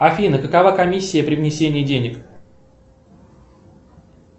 афина какова комиссия при внесении денег